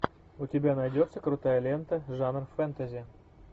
у тебя найдется крутая лента жанр фэнтези